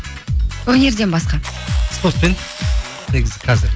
өнерден басқа спортпен негізі қазір